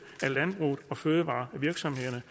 af landbruget og fødevarevirksomhederne